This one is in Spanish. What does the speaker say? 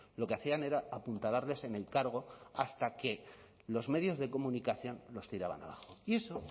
lo que hacían era apuntalarles en el cargo hasta que los medios de comunicación los tiraban abajo y eso